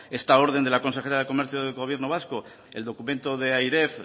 esta orden de la consejera de comercio del gobierno vasco el documento de airef